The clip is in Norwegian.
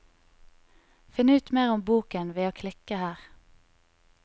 Finn ut mer om boken ved å klikke her.